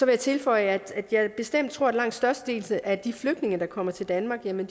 jeg tilføje at jeg bestemt tror at langt størstedelen af de flygtninge der kommer til danmark jo